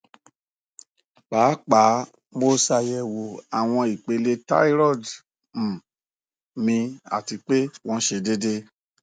paapaa mo ṣayẹwo awọn ipele thyroid um mi ati pe wọn sẹ deede